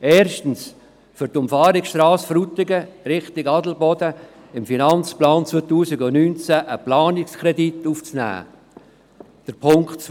Als Erstes soll für die Umfahrungsstrasse Frutigen in Richtung Adelboden ein Planungskredit in den Finanzplan 2019 aufgenommen werden.